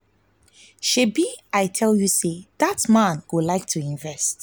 shebi i tell you say dat man go like to invest